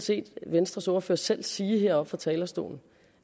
set venstres ordfører selv sige her fra talerstolen